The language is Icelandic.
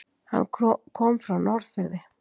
Hann kom frá Norðfirði.